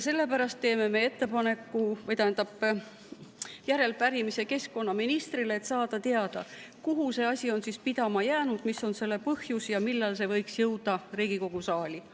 Sellepärast teeme järelepärimise keskkonnaministrile, et saada teada, kuhu see asi on pidama jäänud, mis on selle põhjus ja millal see võiks jõuda Riigikogu saali.